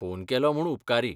Phone केलो म्हूण उपकारी.